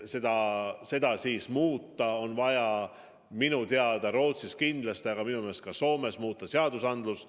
Et seda muuta, on minu teada Rootsis kindlasti, aga minu meelest ka Soomes vaja muuta seadust.